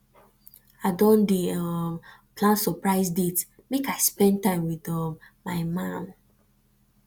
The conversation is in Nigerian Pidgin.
i don dey um plan surprise date make i spend time wit um my man